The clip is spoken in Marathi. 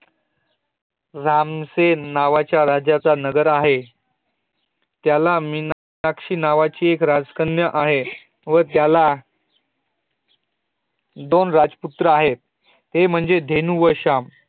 रामसेन नावाच्या राजाचा नगर आहे त्याला मीनाक्षिक नावाची राजकन्या आहे व ज्याला दोन राजपुत्र आहे त्ये म्हणजे देनु व शाम